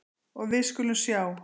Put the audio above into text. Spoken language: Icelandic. Og við skulum sjá.